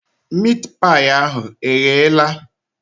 Miit paị ahụ egheela?